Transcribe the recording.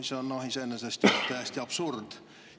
See on iseenesest täiesti absurd.